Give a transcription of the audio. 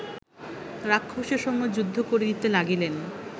রাক্ষসের সঙ্গে যুদ্ধ করিতে লাগিলেন